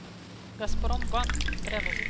газпромбанк тревел